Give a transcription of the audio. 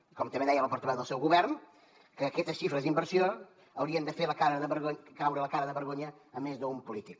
i com també deia la portaveu del seu govern que aquestes xifres d’inversió haurien de fer caure la cara de vergonya a més d’un polític